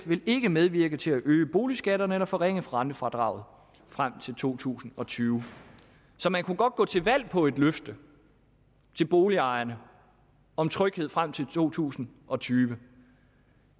vil ikke medvirke til at øge boligskatterne eller forringe rentefradraget frem til to tusind og tyve så man kunne godt gå til valg på et løfte til boligejerne om tryghed frem til to tusind og tyve